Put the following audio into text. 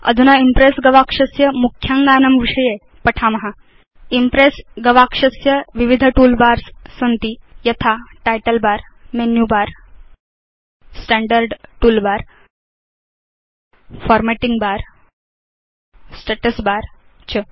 अधुना इम्प्रेस् गवाक्षस्य मुख्याङ्गानां विषये पठाम इम्प्रेस् गवाक्षस्य विविध तूल बार्स सन्ति यथा title bar menu bar standard toolbar formatting bar status bar च